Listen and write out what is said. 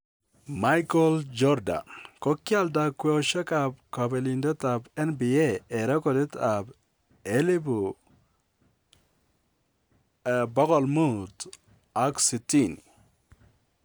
Michael Jordan: Kogialda kwosheab kopelindetab NBA en rekoditab $560,000.